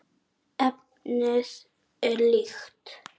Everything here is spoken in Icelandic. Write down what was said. Efnið er líkt.